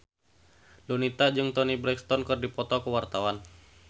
Donita jeung Toni Brexton keur dipoto ku wartawan